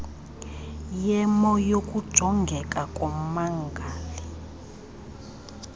yemo yokujongeka kommangali